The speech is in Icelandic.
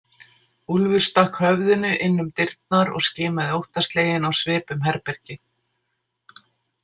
Úlfur stakk höfðinu inn um dyrnar og skimaði óttasleginn á svip um herbergið.